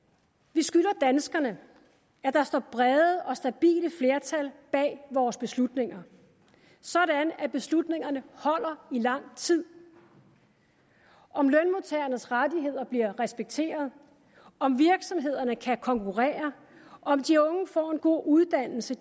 vi skylder danskerne at der står brede og stabile flertal bag vores beslutninger sådan at beslutningerne holder i lang tid om lønmodtagernes rettigheder bliver respekteret om virksomhederne kan konkurrere om de unge får en god uddannelse